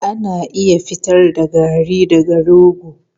Ana iya fitar da garri daga rogo.